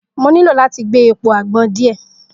Mo nilo lati gbe epo agbon diẹ